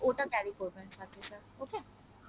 ওটা carry করবেন সাথে sir okay